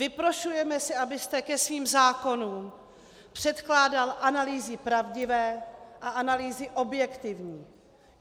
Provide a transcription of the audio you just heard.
Vyprošujeme si, abyste ke svým zákonům předkládal analýzy pravdivé a analýzy objektivní.